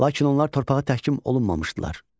Lakin onlar torpağa təhkim olunmamışdılar.